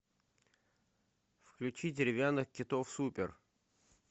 включи деревянных китов супер